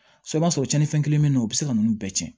I b'a sɔrɔ cɛnnin fɛn kelen bɛ yen o bɛ se ka ninnu bɛɛ tiɲɛ